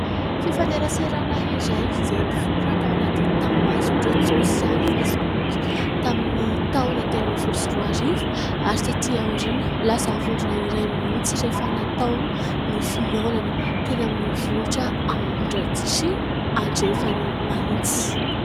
Fifaneraserana iray izay niforona tao anaty tambazotra tsosialy fesiboky, tamin'ny taona telo ambin'ny folo sy roa arivo ; ary taty aoriana lasa vondrona iray mihitsy rehefa natao ny fihaonana teny amin'ny vohitra ao Ambohidratrimo andrefany Mahitsy.